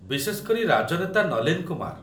ବିଶେଷ କରି, ରାଜନେତା ନଲୀନ କୁମାର